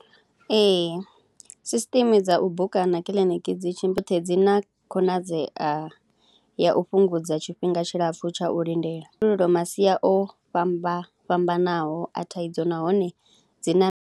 Ee system dza u buka na kiḽiniki dzi dzi na khonadzea ya u fhungudza tshifhinga tshilapfhu tsha u lindela, masia o fhambana fhambanaho a thaidzo nahone dzi na.